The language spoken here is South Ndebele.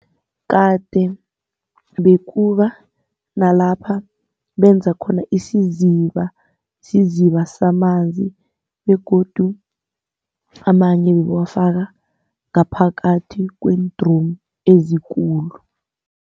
Kade bekuba nalapha benza khona isiziba, isiziba samanzi begodu amanye bebawafaka ngaphakathi kweendromu ezikulu.